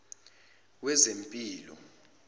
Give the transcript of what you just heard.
wezempilo